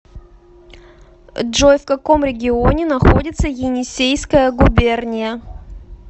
джой в каком регионе находится енисейская губерния